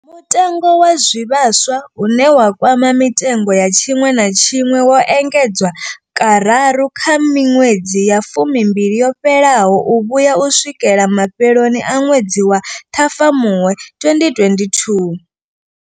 Mutengo wa zwivhaswa, une wa kwama mitengo ya tshiṅwe na tshiṅwe, wo engedzwa kararu kha miṅwedzi ya fumimbili yo fhelaho u vhuya u swikela mafheloni a ṅwedzi wa Ṱhafamuhwe 2022.